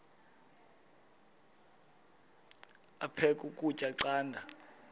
aphek ukutya canda